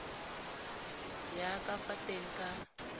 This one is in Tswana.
ya ka fa teng ka